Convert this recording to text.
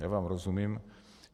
Já vám rozumím.